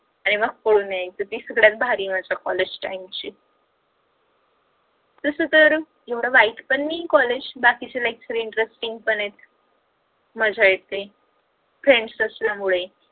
आणि मग पळून यायच ती सगळ्यात भारी मज्जा college time ची तस तर एवड वाईट पण नाही आहे college बाकीचे lecture interesting पण आहेत मज्जा येते friends असल्या मुळे